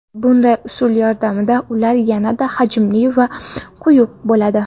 Bunday usul yordamida ular yanada hajmli va quyuq bo‘ladi.